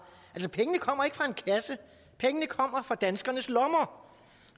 altså pengene kommer ikke fra en kasse pengene kommer fra danskernes lommer